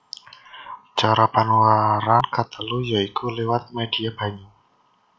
Cara panularan katelu ya iku liwat médhia banyu